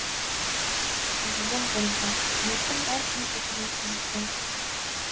президент бұрынғы үкіметтің әр кем кетігін тізіп берді